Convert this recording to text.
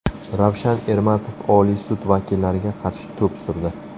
Ravshan Ermatov Oliy sud vakillariga qarshi to‘p surdi .